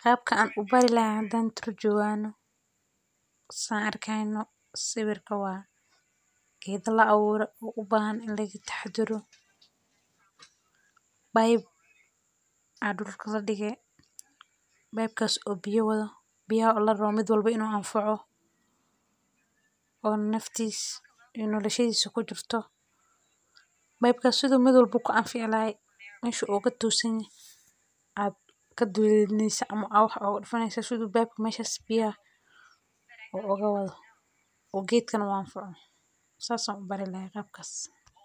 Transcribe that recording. Qaab ka an ubari lahaan hadaan tur juuaano, sann arkaynu sawirka waa geedda la awoora u baahan la iga taxduuru pipe aad ul kala dhige pipe kaas oo biyo wado biyaa olo oromid walbo inuu aan faaco oo naftiis inoo noloyshiisu ku jirto pipe ka siduu mid walba ku canfi llahay in meeshu ogatuusin ad ka duuliniisa amu waxa dufanaysii siduu pipe ka meeshas biyaa oo ogawadu oo geedkan waanfaco saas uu barilaya qaabkaas.